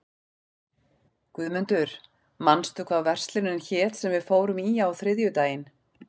Guðmundur, manstu hvað verslunin hét sem við fórum í á þriðjudaginn?